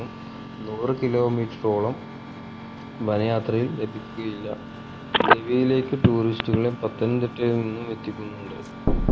നൂറ് kilometre ഓളേം വന യാത്രയിൽ ലഭിക്കുക്കയില്ല ഗവിയിലേക് tourist റ്റുകളെ പത്തനംതിട്ടയിൽ നിന്നും എത്തിക്കുന്നുണ്ട്